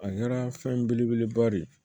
A kɛra fɛn belebeleba de ye